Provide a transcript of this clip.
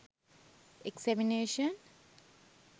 examination